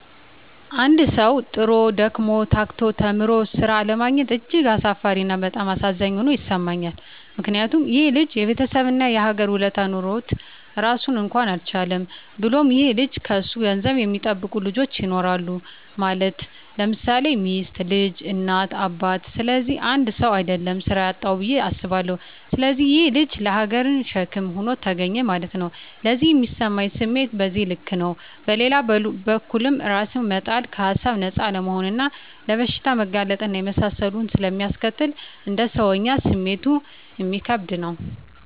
አንድ ሠዉ, ጥሮ: ደክሞ :ታክቶ ተምሮ ስራ አለማግኘት እጅግ አሳፋሪ እና በጣም አሳዛኝ ሆኖ ይሠማኛል ምክንያቱም :ይሄ ልጅ የቤተሠብ እና የሀገር ውለታ ኖሮበት ራሱን እንኳን አልቻለም። ብሎም ይሄ ልጅ ከሱ ገንዘብ የሚጠብቁ ልጆች ይኖራሉ ማለት _ለምሳሌ ሚስት: ልጅ: እናት :አባት ስለዚህ 1ሰው: አደለም ስራ ያጣዉ ብየ አስባለሁ። ስለዚህ ይሄ_ ልጅ ለሀገርም ሸክም ሆኖ ተገኘ ማለት ነዉ። ለኔ ሚሰማኝ ስሜት በዚህ ልክ ነው። በሌላ በኩልም እራስን መጣል ከሀሳብ ነፃ አለመሆንና ለበሽታ መጋለጥ እና የመሳሰሉትን ስለሚያስከትል: እንደ ሰወኛ ስሜቱ እሚከብድ ነው